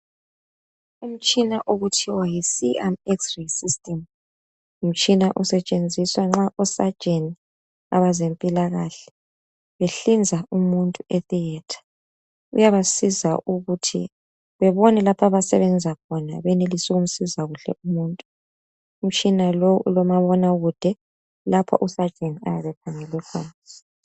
Umtshina okuthiwa yiCNXray System ngumtshina osetshenziswa nxa usajeni abezempilakahle behlinza umuntu e theatre uyabasiza ukuthi bebone lapho abasebenza khona benelise ukumsiza kuhle umuntu. Umtshina lo ulomabonakude lapho usajeni ayabe ekhangele khona